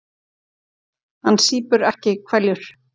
Hann sýpur ekki hveljur.